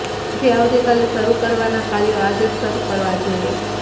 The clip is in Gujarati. તેથી આવતીકાલે શરૃ કરવાના કાર્યો આજે જ શરૃ કરવા જોઈએ